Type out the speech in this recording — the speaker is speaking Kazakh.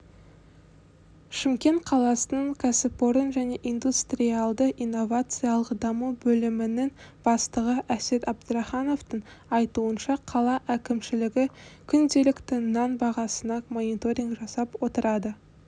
шымкент қаласының кәсіпорын және индустриалды-инновациялық даму бөлімінің бастығы әсет әбдірахановтың айтуынша қала әкімшілігі күнделікті нан бағасына мониторинг жасап отырады